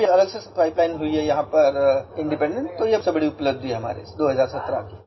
अब अलग से ये पाइप लाइन हुई है इंडिपेंडेंट तो ये सब बड़ी उपलब्धि है हमारी 2017 में